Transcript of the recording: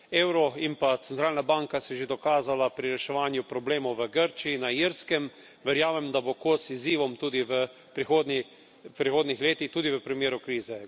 Euro in pa Centralna banka sta se že dokazala pri reševanju problemov v Grčiji, na Irskem, verjamem, da bosta kos izzivom tudi v prihodnjih letih, tudi v primeru krize.